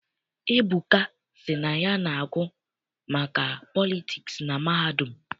Ebuka sị na ya na-agụ maka politiks na mahadum.